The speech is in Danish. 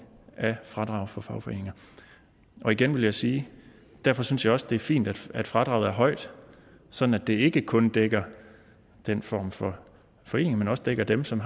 af fradrag for fagforeninger og igen vil jeg sige at derfor synes jeg også det er fint at at fradraget er højt sådan at det ikke kun dækker den form for forening men også dækker dem som